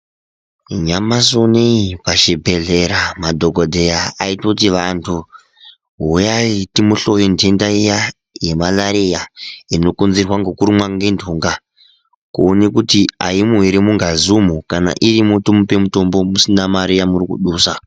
Nyamashi unowu pachibhedhlera madhokodheya aitoti Vantu huyai timuhloye ndenda iya yemalariya inokonzereswa nekurumwa ngendunga kuona kuti aimo here mungazi umo kana irimo tomupa mitombo musina mare yamuri kudusa.